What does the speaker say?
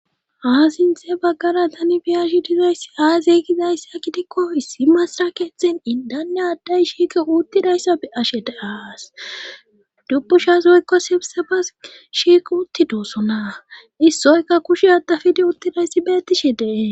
Ha sinthe baggara tani biyashi dizayssi aazeygizayss a gidikko issi masra keeththen indane adday shiike uuttidayssa e ashe deaas dubbu shas woykko sebsa bas shiik utti doossona issoyka kushe adafidi uttidayssi bettishe dee